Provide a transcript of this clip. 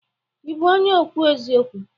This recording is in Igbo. Ị bụ onye ekwu eziokwu?